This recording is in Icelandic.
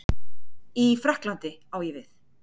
í Frakklandi, á ég við?